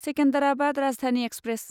Secunderabad Rajdhani express